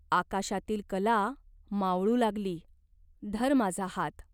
आकाशातील कला मावळू लागली. धर माझा हात.